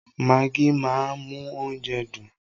Magí máa ń mú oúnjẹ dùn.